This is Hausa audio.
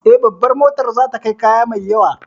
Eh, Babar motar za ta kai kaya mai yawa